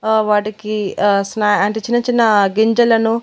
ఆ వాటికీ ఆ స్నా అంటే చిన్న చిన్న గింజలను--